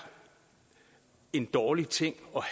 en dårlig ting